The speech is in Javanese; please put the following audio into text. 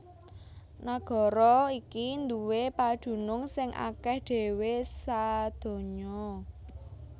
Nagara iki nduwé padunung sing akèh dhéwé sadonya